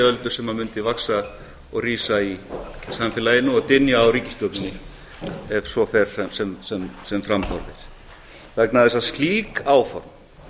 reiðiöldu sem mundi vaxa og rísa í samfélaginu og dynja á ríkisstjórninni ef svo fer sem fram horfir vegna þess að slík áform